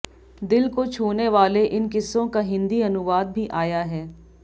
दिल को छूने वाले इन किस्सों का हिन्दी अनुवाद भी आया है